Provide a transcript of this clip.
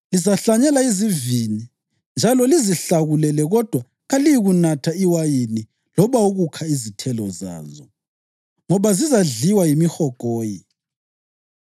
Lizahlanyela izivini njalo lizihlakulele kodwa kaliyikunatha iwayini loba ukukha izithelo zazo, ngoba zizadliwa yimihogoyi.